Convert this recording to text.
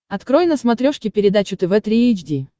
открой на смотрешке передачу тв три эйч ди